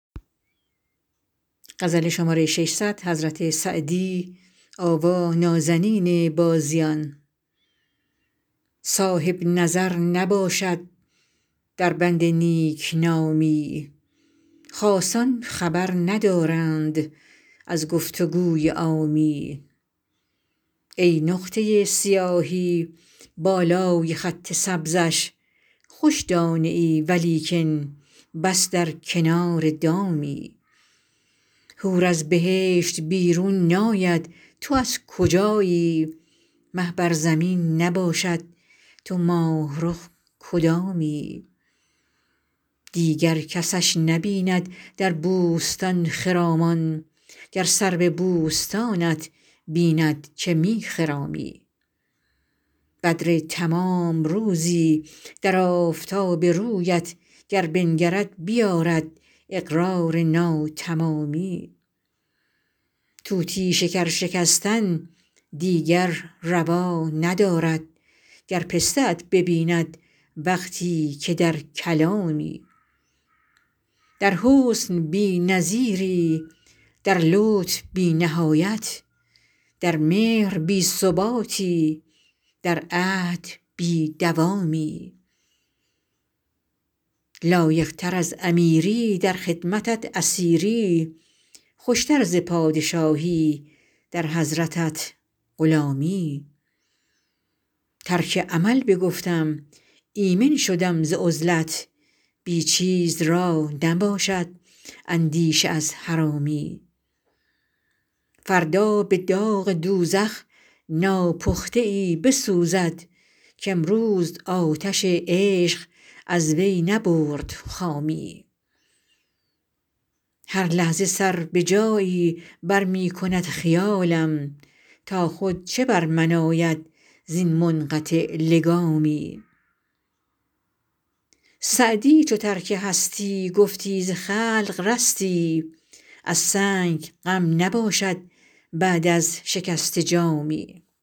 صاحب نظر نباشد در بند نیک نامی خاصان خبر ندارند از گفت و گوی عامی ای نقطه سیاهی بالای خط سبزش خوش دانه ای ولیکن بس بر کنار دامی حور از بهشت بیرون ناید تو از کجایی مه بر زمین نباشد تو ماه رخ کدامی دیگر کسش نبیند در بوستان خرامان گر سرو بوستانت بیند که می خرامی بدر تمام روزی در آفتاب رویت گر بنگرد بیآرد اقرار ناتمامی طوطی شکر شکستن دیگر روا ندارد گر پسته ات ببیند وقتی که در کلامی در حسن بی نظیری در لطف بی نهایت در مهر بی ثباتی در عهد بی دوامی لایق تر از امیری در خدمتت اسیری خوش تر ز پادشاهی در حضرتت غلامی ترک عمل بگفتم ایمن شدم ز عزلت بی چیز را نباشد اندیشه از حرامی فردا به داغ دوزخ ناپخته ای بسوزد کامروز آتش عشق از وی نبرد خامی هر لحظه سر به جایی بر می کند خیالم تا خود چه بر من آید زین منقطع لگامی سعدی چو ترک هستی گفتی ز خلق رستی از سنگ غم نباشد بعد از شکسته جامی